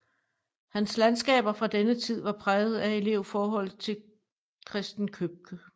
Hans landskaber fra denne tid var præget af elevforholdet til Christen Købke